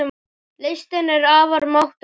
Listin er afar máttugt tæki.